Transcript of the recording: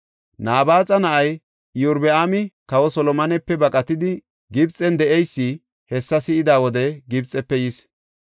Nabaaxa na7ay Iyorbaami kawa Solomonepe baqatidi Gibxen de7eysi, hessa si7ida wode Gibxefe yis.